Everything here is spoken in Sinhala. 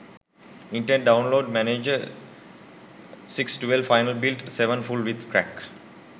internet download manager 6 12 final build 7 full with crack